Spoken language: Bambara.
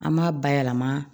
An b'a bayɛlɛma